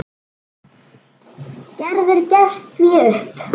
Gerður gefst því upp.